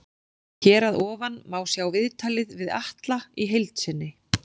Hér að ofan má sjá viðtalið við Atla í heild sinni.